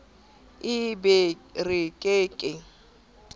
e be re ke ke